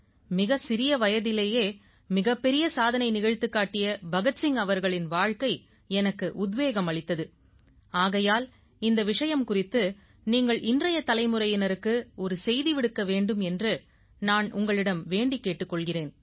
மிகச் சிறிய வயதிலேயே மிகப் பெரிய சாதனை நிகழ்த்திக் காட்டிய பகத் சிங் அவர்களின் வாழ்க்கை எனக்கு உத்வேகம் அளித்தது ஆகையால் இந்த விஷயம் குறித்து நீங்கள் இன்றைய தலைமுறையினருக்கு ஒரு செய்தி விடுக்க வேண்டும் என்று நான் உங்களிடம் வேண்டிக் கேட்டுக் கொள்கிறேன்